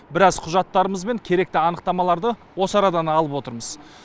біраз құжаттарымыз бен керекті анықтамаларды осы арадан алып отырмыз